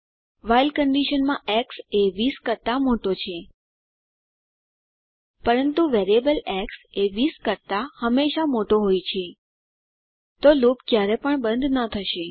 while કંડીશનમાં x એ 20 કરતા મોટો છે પરંતુ વેરિએબલ એક્સ એ 20 કરતા હંમેશા મોટો હોય છે તો લૂપ ક્યારે પણ બંધ ન થશે